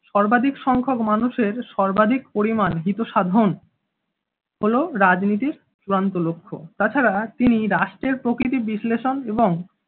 সর্বাধিক সংখ্যক মানুষের সর্বাধিক পরিমাণ হিতসাধন হলো রাজনীতির চূড়ান্ত লক্ষ্য, তাছাড়া তিনি রাষ্ট্রের প্রকৃতি বিশ্লেষণ এবং